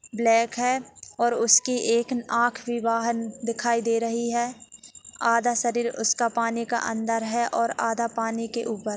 Black है और उसकी एक आँख भी बाहर दिखाई दे रही है आधा शरीर उसका पानी के अंदर है और आधा पानी के ऊपर।